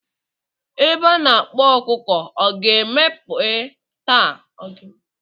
Ebe a na-akpa ọkụkọ ọ ga-emepe taa.